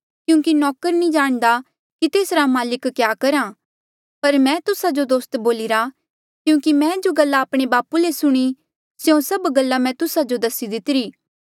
एेबे ले मां तुस्सा जो नौकर नी बोलणा क्यूंकि नौकर नी जाणदा कि तेसरा माल्क क्या करहा पर मैं तुस्सा जो दोस्त बोलिरा क्यूंकि मैं जो गल्ला आपणे बापू ले सुणी स्यों सब गल्ला मैं तुस्सा जो दसी दितिरी